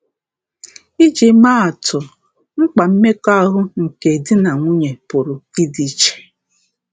Iji maa atụ, mkpa mmekọahụ nke di na nwunye pụrụ ịdị iche.